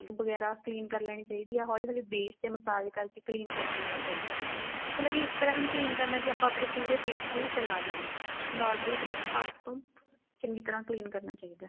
ਵਗੈਰਾ clean ਕ਼ਰ ਲੈਣੀ ਚਾਹੀਦੀ ਏ ਹੋਲੀ ਹੋਲੀ face message ਕ਼ਰ ਕੇ clean ਕ਼ਰ ਲੈਣਾ ਚਾਹੀਦਾ ਮਤਲਬ ਵੀ ਇਸ ਤਰ੍ਹਾਂ ਵੀ ਨੀ clean ਕਰਨਾ ਵੀ ਆਪਾਂ ਆਪਣੇ ਪੂਰੇ face ਤੇ ਹੀ ਫ਼ੈਲਾ ਲਈਏ normally ਹਰੇਕ part ਤੋਂ ਚੰਗੀ ਤਰ੍ਹਾਂ clean ਕਰਨਾ ਚਾਹੀਦਾ